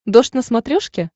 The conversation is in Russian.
дождь на смотрешке